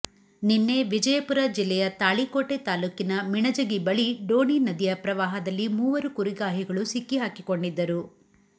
ನಿನ್ನೆ ವಿಜಯಪುರ ಜಿಲ್ಲೆಯ ತಾಳಿಕೋಟೆ ತಾಲೂಕಿನ ಮಿಣಜಗಿ ಬಳಿ ಡೋಣಿ ನದಿಯ ಪ್ರವಾಹದಲ್ಲಿ ಮೂವರು ಕುರಿಗಾಹಿಗಳು ಸಿಕ್ಕಿಹಾಕಿಕೊಂಡಿದ್ದರು